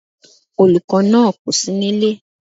Olùkó náà kòsí nílé